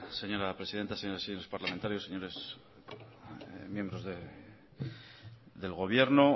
señora presidenta señoras y señores parlamentarios señores miembros del gobierno